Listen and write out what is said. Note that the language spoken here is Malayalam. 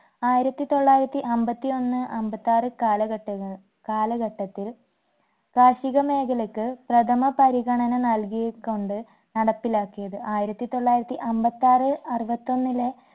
ആയിരത്തി തൊള്ളായിരത്തി അമ്പത്തി ഒന്ന് അമ്പത്താറ് കാലഘട്ടങ്ങ കാലഘട്ടത്തിൽ കാർഷിക മേഖലക്ക് പ്രഥമ പരിഗണന നൽകികൊണ്ട് നടപ്പിലാകിയത് ആയിരത്തി തൊള്ളായിരത്തി അമ്പത്താറ് അറുപത്തൊന്നിലെ